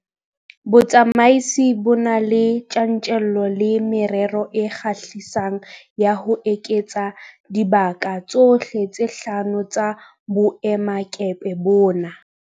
Botsamaisi bo na le tjantjello le merero e kgahlisang ya ho eketsa dibaka tsohle tse hlano tsa boemakepe bona.